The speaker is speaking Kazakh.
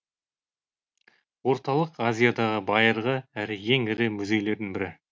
орталық азиядағы байырғы әрі ең ірі музейлердің бірі